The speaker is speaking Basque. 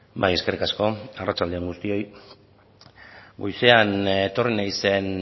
bai eskerrik asko arratsalde on guztioi goizean etorri naizen